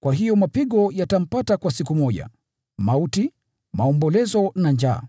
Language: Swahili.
Kwa hiyo mapigo yatampata kwa siku moja: mauti, maombolezo na njaa.